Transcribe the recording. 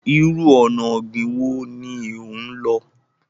Ìrù ọ̀nà ogbin wọ ni o n lọ̀?